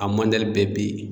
A mandali bɛɛ be ye